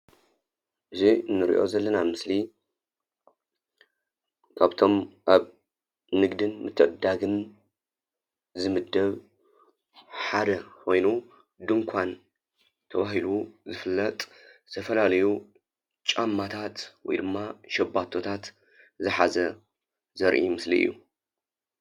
እዚ እንሪኦ ዘለና ምስሊ ካብቶም ኣብ ንግድን ምትዕድዳግን ዝምደብ ሓደ ኮይኑ ድንኳን ተባሂሉ ዝፍለጥ ዝተፈላለዩ ጫማታት ወይ ድማ ሻባቶታት ዝሓዘ ዘርኢ ምስሊ እዩ።